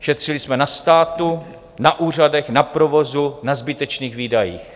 Šetřili jsme na státu, na úřadech, na provozu, na zbytečných výdajích.